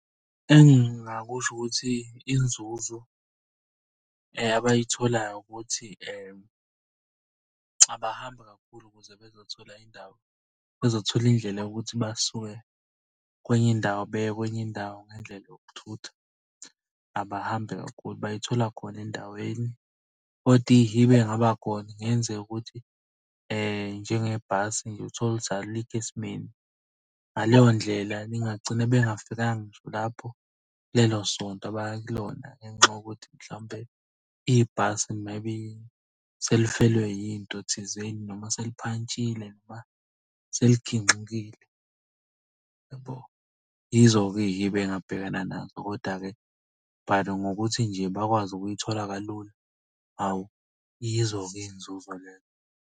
Engingakusho ukuthi inzuzo abayitholayo ukuthi abahambi kakhulu ukuze bezothola indawo. Bezothola indlela yokuthi basuke kwenye indawo beye kwenye indawo ngendlela yokuthutha. Abahambi kakhulu bayithola khona endaweni kodwa ihibe ey'ngaba khona kungenzeka ukuthi njengebhasi nje uthole ukuthi alikho esimeni. Ngaleyo ndlela ningagcina bengafikanga ngisho lapho kulelo sonto abaya kulona ngenxa yokuthi mhlawumpe ibhasi maybe selifelwe yinto thizeni, noma seliphantshile noma seliginqikile yabo. Yizo-ke iy'hibe engabhekana nazo, koda-ke but ngokuthi nje bakwazi ukuyithola kalula. Hawu, yizo ke iy'nzuzo leyo.